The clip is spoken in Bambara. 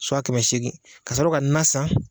kɛmɛ seegin ka sɔrɔ ka na san,